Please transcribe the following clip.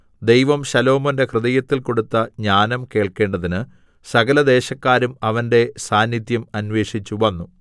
ദൈവം ശലോമോന്റെ ഹൃദയത്തിൽ കൊടുത്ത ജ്ഞാനം കേൾക്കേണ്ടതിന് സകലദേശക്കാരും അവന്റെ സാന്നിദ്ധ്യം അന്വേഷിച്ചുവന്നു